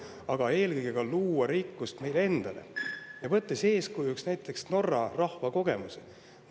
Aga eelkõige luua rikkust meile endale, võttes eeskujuks näiteks Norra rahva kogemuse.